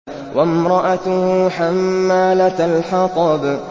وَامْرَأَتُهُ حَمَّالَةَ الْحَطَبِ